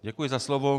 Děkuji za slovo.